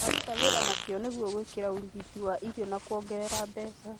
Tũraruta wĩra nĩguo gwĩkĩra hinya ũgitĩri wa irio na kuongerera mbeca